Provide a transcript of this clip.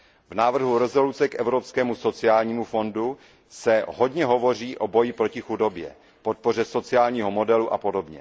V návrhu usnesení o Evropském sociálním fondu se hodně hovoří o boji proti chudobě, podpoře sociálního modelu apod.